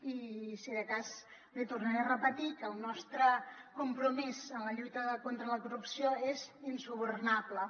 i si de cas li tornaré a repetir que el nostre compromís en la lluita contra la corrupció és insubornable